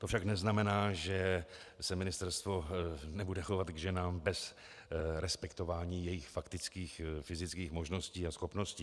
To však neznamená, že se ministerstvo nebude chovat k ženám bez respektování jejich faktických fyzických možností a schopností.